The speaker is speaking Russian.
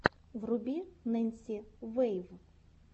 вруби ненси вэйв